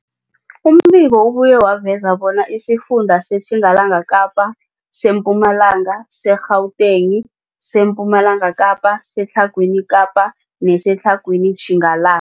Umbiko ubuye waveza bona isifunda seTjingalanga Kapa, seMpumalanga, seGauteng, sePumalanga Kapa, seTlhagwini Kapa neseTlhagwini Tjingalanga.